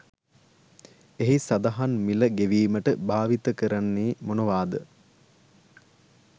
එහි සදහන් මිල ගෙවිමට භාවිතා කරන්නෙ මොනවාද.